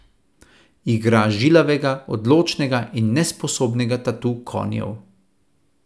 Igra žilavega, odločnega in nesposobnega tatu konjev.